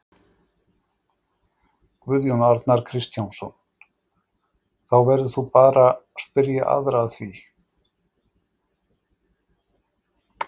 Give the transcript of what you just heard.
Guðjón Arnar Kristjánsson: Þá verður þú bara spyrja aðra að því?